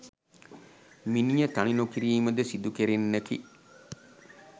මිනිය තනි නො කිරීම ද සිදුකෙරෙන්නකි.